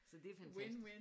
Så det er fantastisk